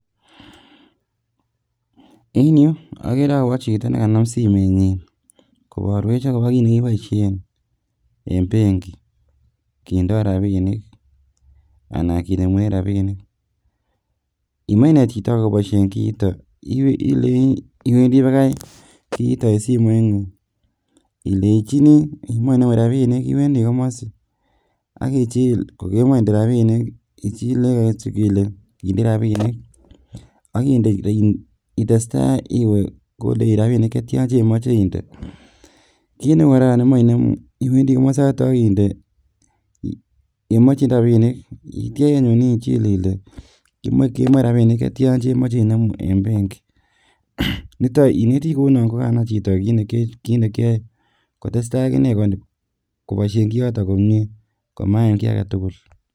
En yuh okere akobo chito nekanam simenyin, koborwech akobo kit nekiboishien en benki kindo rabinik anan kinemu rabinik. Imoche inet chito akobo elekiboishioto akobo kii iron, iwendi bakai kiiton eng simoingung, Iwendi komosi kokemoche indee rabinik ichile eng simoit, kineu kora yon imoche inemu rabinik ichile Ile imoche inemu rabinik cheryaan eng benkii. Ineti kounon kokanai chito kit nekioe kotesta akine koboishie kioto